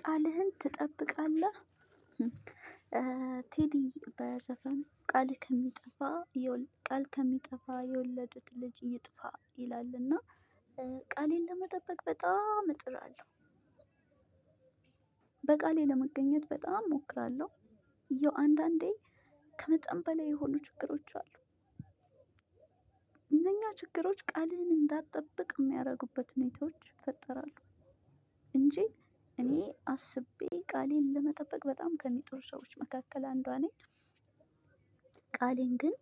ቃልህን ትጠብቃለህ? ቴዲ በዘፈኑ ቃሌ ከሚጠፋ ቃል ከሚጠፋ የወለዱት ልጅ ይጥፋ ይላል እና ቃሌን ለመጠበቅ በጣም እጥራለሁ። በቃሌ ለመገኘት በጣም እሞክራለሁ። ያው አንዳንዴ ከመጠን በላይ የሆኑ ችግሮች አሉ። እነኛ ችግሮች ቃልህን እንዳትጠብቅ የሚያደርጉበት ሁኔታዎች ይፈጠራሉ። እንጂ እኔ አስቤ ቃሌን ለመጠበቅ በጣም ከሚጥሩ ሰዎች መካከል አንዷ ነኝ። ቃሌን ግን